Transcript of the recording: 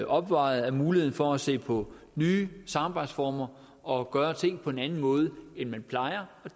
opvejet af muligheden for at se på nye samarbejdsformer og gøre tingene på en anden måde end man plejer